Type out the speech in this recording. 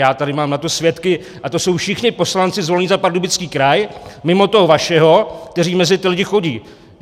Já tady mám na to svědky a to jsou všichni poslanci zvolení za Pardubický kraj mimo toho vašeho, kteří mezi ty lidi chodí.